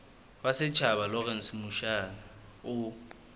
wa setjhaba lawrence mushwana o